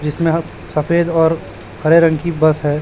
जिसमें सफेद और हरे रंग की बस है।